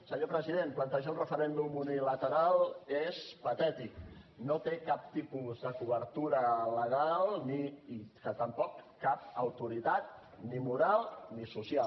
senyor president plantejar un referèndum unilateral és patètic no té cap tipus de cobertura legal ni tampoc cap autoritat ni moral ni social